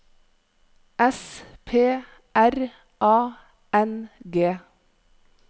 S P R A N G